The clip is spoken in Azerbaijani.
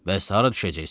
"Bəs hara düşəcəksən?"